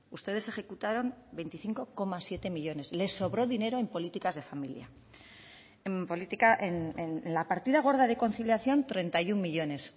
ustedes ejecutaron veinticinco coma siete millónes les sobró dinero en políticas de familia en la partida gorda de conciliación treinta y uno millónes